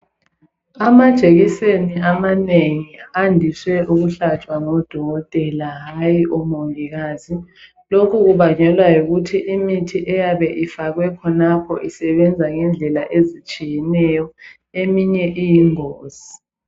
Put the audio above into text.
Amajekiseni amanengi andiswe ukuhlatshwa ngodokotela hayi omongikazi. Lokhu kubangelwa yikuthi imithi eyabe ifakwe khonapho isebenza ngendlela ezitshiyeneyo eminye iyingozi.